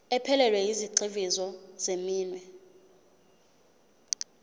ephelele yezigxivizo zeminwe